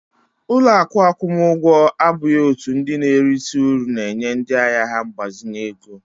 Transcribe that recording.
Ụlọ akụ akwụmụgwọ abụghị òtù ndị na-erite uru na-enye ndị ahịa ha mgbazinye ego